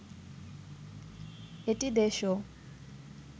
এটি দেশ ও